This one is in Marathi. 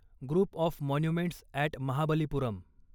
group of monuments at Mahabalipuram